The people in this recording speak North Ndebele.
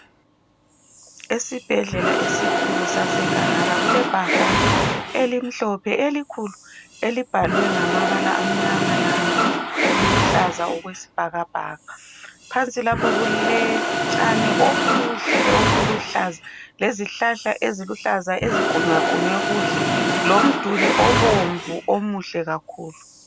Esibhedlela esikhulu saseGahara, kulebhakane elimhlophe elikhulu elibhalwe ngamabala amnyama laluhlaza okwesibhakabhaka. Phansi lapha kulotshani obuhle obuluhlaza, lezihlahla eziluhlaza ezigqunywagqunywe kuhle, lomduli obomvu omuhle kakhulu.